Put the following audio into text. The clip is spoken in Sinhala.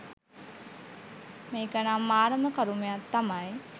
මේකනම් මාරම කරුමයක් තමයි